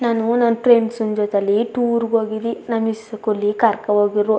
ನಾನು ನನ್ನ ಫ್ರೆಂಡ್ಸ್ ಇನ್ನ್ ಜೊತೆಯಲಿ ಟೂರ್ ಗೆ ಹೋಗಿದಿ ನಮ ಇಸ್ಕೂಲಿ ಕರ್ಕ ಹೋಗಿರು.